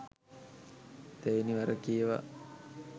තෙවැනි වර කියවා